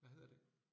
Hvad hedder det?